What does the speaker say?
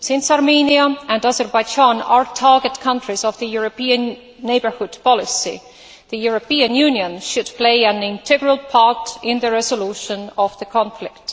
Since Armenia and Azerbaijan are target countries of the European neighbourhood policy, the European Union should play an integral part in the resolution of the conflict.